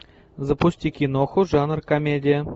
запусти киноху жанр комедия